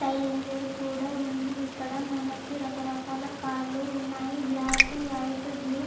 Fire engine కూడా ఉంది. ఇక్కడ మనకి రకరకాల కార్ లు ఉన్నాయి. Black white blue --